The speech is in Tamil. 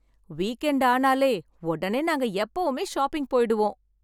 வீக் எண்ட் ஆனாலே உடனே நாங்க எப்பவுமே ஷாப்பிங் போயிடுவோம்.